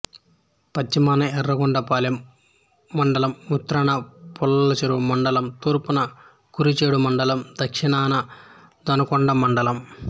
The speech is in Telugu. పశ్చిమాన యర్రగొండపాలెం మండలం ఉత్తరాన పుల్లలచెరువు మండలం తూర్పున కురిచేడు మండలం దక్షణాన దొనకొండ మండలం